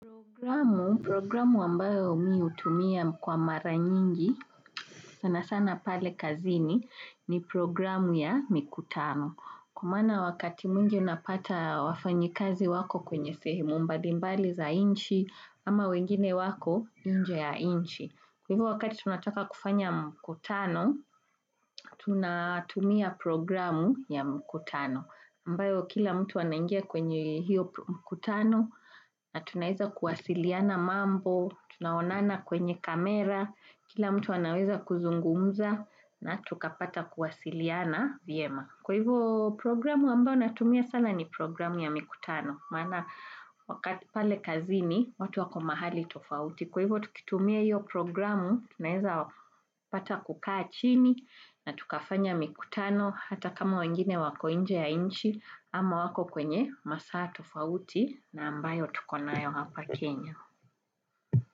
Programu, programu ambayo mi hutumia kwa maranyingi, sana sana pale kazini, ni programu ya mikutano. Kwa maana wakati mwingi unapata wafanyikazi wako kwenye sehemu mbalimbali za nchi, ama wengine wako nje ya nchi. Kwa hivyo wakati tunataka kufanya mkutano, tunatumia programu ya mkutano, ambayo kila mtu anaingia kwenye hiyo mkutano, na tunaweza kuwasiliana mambo, tunaonana kwenye kamera, kila mtu anaweza kuzungumza, na tukapata kuwasiliana vyema. Kwa hivyo programu ambayo natumia sana ni programu ya mikutano, maana wakati pale kazini watu wako mahali tofauti. Kwa hivyo tukitumia hiyo programu, tunaeza pata kukaa chini na tukafanya mikutano hata kama wengine wako nje ya nchi ama wako kwenye masaa tofauti na ambayo tukonayo hapa Kenya.